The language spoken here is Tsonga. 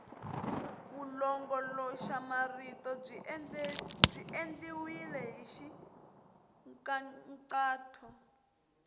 vulongoloxamarito byi endliwile hi nkhaqato